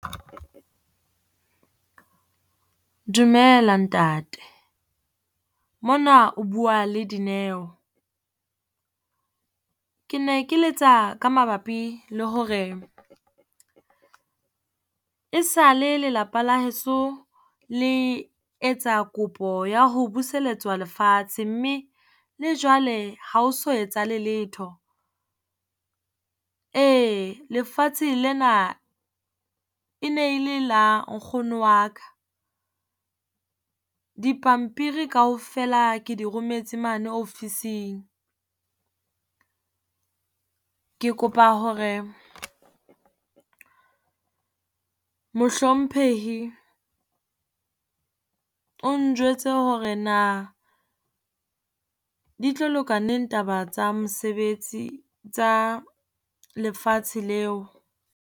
Dumela ntate mona o bua le Dineo. Ke ne ke letsa ka mabapi le hore e sale lelapa la heso le etsa kopo ya ho buseletswa lefatshe mme le jwale ha ho so etsahale letho. Ee lefatshe lena e ne e le la nkgono wa ka, dipampiri kaofela ke di rometse mane ofising. Ke kopa hore mohlomphehi o njwetse hore na di tlo loka neng taba tsa mosebetsi, tsa lefatshe leo.